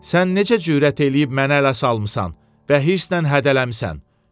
Sən necə cürət eləyib məni ələ salmısan və hırsla hədələmisən?